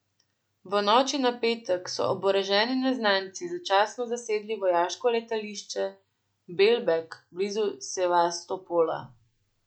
V noči na petek so oboroženi neznanci začasno zasedli vojaško letališče Belbek blizu Sevastopola.